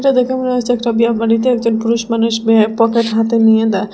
এটা দেখে মনে হচ্ছে একটা বিয়া বাড়িতে একজন পুরুষ মানুষ বিয়ে পকেট হাতে নিয়ে দা--